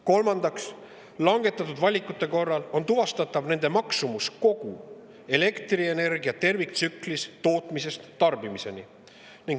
Kolmandaks, langetatud valikute korral on tuvastatav nende maksumus kogu elektrienergia terviktsüklis tootmisest tarbimiseni.